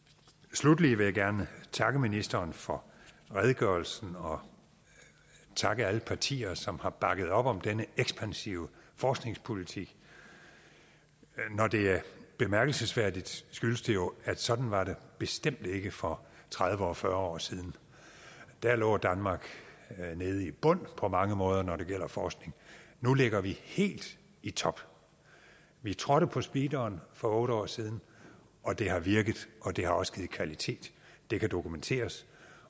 sluttelig vil jeg gerne takke ministeren for redegørelsen og takke alle partier som har bakket op om denne ekspansive forskningspolitik når det er bemærkelsesværdigt skyldes det jo at sådan var det bestemt ikke for tredive og fyrre år siden der lå danmark nede i bunden på mange måder når det gjaldt forskning nu ligger vi helt i top vi trådte på speederen for otte år siden og det har virket og det har også givet kvalitet det kan dokumenteres